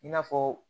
I n'a fɔ